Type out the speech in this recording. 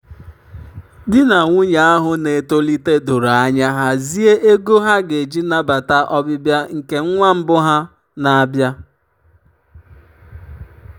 di na nwunye ahụ na-etolite doro anya hazie ego ha ga-eji nabata ọbịbịa nke nwa mbụ ha na-abịa.